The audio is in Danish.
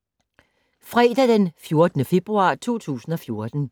Fredag d. 14. februar 2014